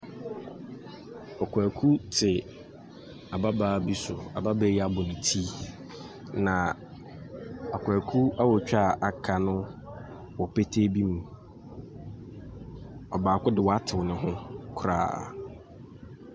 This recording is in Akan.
Ɔkwaaku te ababaa bi so, ababaa yi abɔ ne ti. Na akwaaku awotwe aa aka no wɔ petee bi mu. Ɔbaako de waatew ne ho koraa.